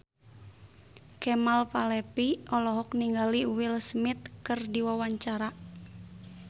Kemal Palevi olohok ningali Will Smith keur diwawancara